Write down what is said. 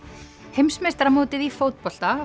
heimsmeistaramótið í fótbolta